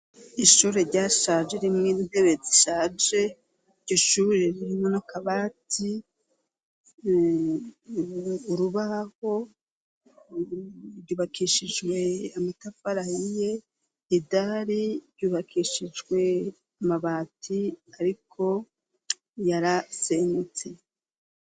Ishure ryashaje ririmwo intebe zishaje gishure ririme no kabati urubaho ryubakishijwe amatafarayi ye idali ryubakishijwe amabati ariko yarasenyutse.